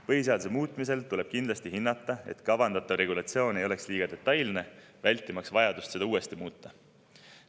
Põhiseaduse muutmisel tuleb kindlasti hinnata, et kavandatav regulatsioon ei oleks liiga detailne, vältimaks vajadust seda uuesti muuta.